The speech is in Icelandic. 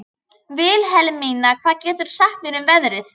Vilhelmína, hvað geturðu sagt mér um veðrið?